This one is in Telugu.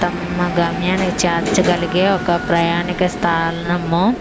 తమ్మ గమ్యానికి చేర్చాగలిగే ఒక ప్రయాణిక స్థాలము.